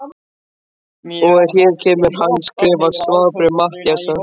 Og hér kemur handskrifað svarbréf Matthíasar